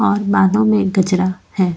और बालों में कचरा है।